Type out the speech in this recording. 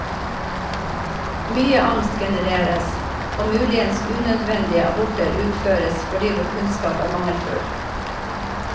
Mye angst genereres, og muligens unødvendige aborter utføres fordi vår kunnskap er mangelfull.